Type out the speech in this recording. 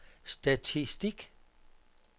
statistik